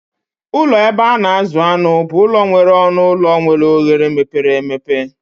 Ụlọ ebe a na-azụ anụ bụ ụlọ nwere ọnụ ụlọ nwere oghere mepere emepe.